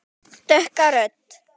Dökka rödd.